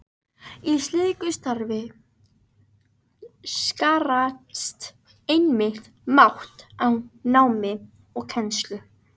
Í slíku starfi skarast einmitt mat á námi og kennslu.